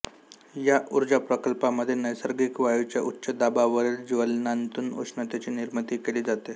या ऊर्जा प्रकल्पामध्ये नैसर्गिक वायूच्या उच्चदाबावरील ज्वलनांतून उष्णतेची निर्मिती केली जाते